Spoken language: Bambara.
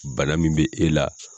Bana min bɛ e la